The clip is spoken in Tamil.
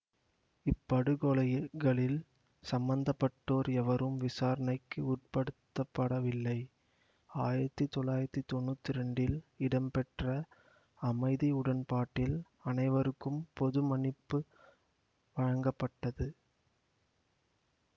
இப்படுகொலைகளில் சம்பந்தப்பட்டோர் எவரும் விசாரணைக்கு உட்படுத்தப்படவில்லை ஆயிரத்தி தொள்ளாயிரத்தி தொன்னூத்தி இரண்டில் இடம்பெற்ற அமைதி உடன்பாட்டில் அனைவருக்கும் பொது மன்னிப்பு வழங்கப்பட்டது